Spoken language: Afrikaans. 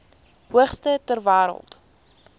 hoogste ter wêreld